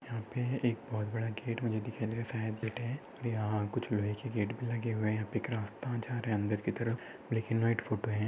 यहाँ पे एक बहुत बड़ा गेट मुझे दिखाइए दे रहा है और यहाँ कुछ लोहे गेट भी लगे हुये है एक रास्ता जा रहा है अन्दर की तरफ। ब्लँक इन व्हाईट फोटो है।